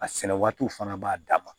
A sɛnɛ waatiw fana b'a dan ma